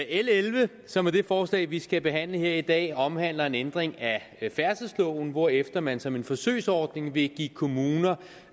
elleve som er det forslag vi skal behandle her i dag omhandler en ændring af færdselsloven hvorefter man som en forsøgsordning vil give kommuner